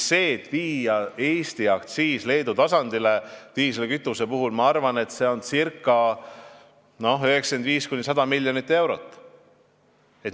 Kui viia Eesti aktsiis Leedu tasemele, siis see tähendab, ma arvan, 95–100 miljonit eurot.